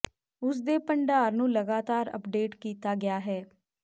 ਉਸ ਦੇ ਭੰਡਾਰ ਨੂੰ ਲਗਾਤਾਰ ਅੱਪਡੇਟ ਕੀਤਾ ਗਿਆ ਹੈ